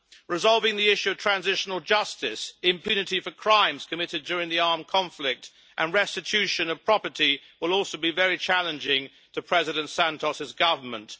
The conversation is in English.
Resolving the issue of transitional justice, impunity for crimes committed during the armed conflict and restitution of property will also be very challenging to President Santos's government.